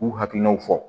K'u hakilinaw fɔ